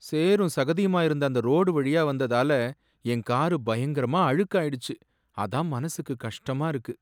சேறும் சகதியுமா இருந்த அந்த ரோடு வழியா வந்ததால என் காரு பயங்கரமா அழுக்காயிடுச்சு, அதான் மனசுக்கு கஷ்டமா இருக்கு.